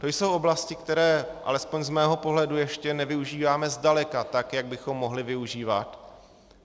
To jsou oblasti, které, alespoň z mého pohledu, ještě nevyužíváme zdaleka tak, jak bychom mohli využívat.